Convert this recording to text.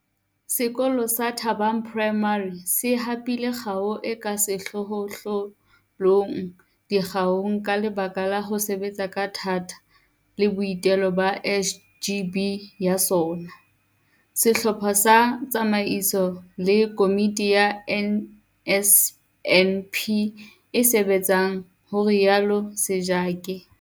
Sekolo sa Thabang Primary se hapile kgao e ka sehlohlolong dikgaong ka lebaka la ho sebetsa ka thata le boitelo ba SGB ya sona, sehlopha sa tsamaiso le komiti ya NSNP e sebetsang, ho rialo Sejake.